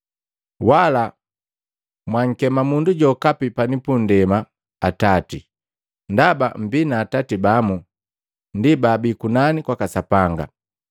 Wala mwankema mundu jokapi pani pundema, ‘Atati,’ ndaba mmbii na atati bamu, ndi baabi kunani kwaka Sapanga.